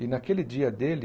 E naquele dia dele,